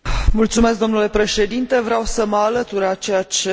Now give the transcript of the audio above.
Vreau să mă alătur la ceea ce domnul Vigenin spunea